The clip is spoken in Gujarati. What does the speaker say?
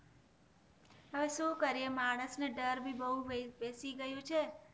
હવે શું કરીએ માણસ ને ડર ભી બોવ બેસી ગયો છે